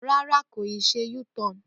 Ràrà, kóyì sẹ u-tọn.